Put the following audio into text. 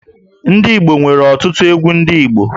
Ndị Igbo nwere ọtụtụ ndị egwú Igbo